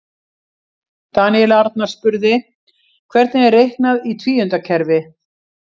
Daníel Arnar spurði: Hvernig er reiknað í tvíundakerfi?